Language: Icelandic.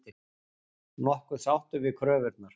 Nokkuð sáttur við kröfurnar